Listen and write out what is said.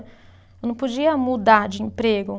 Eu não podia mudar de emprego.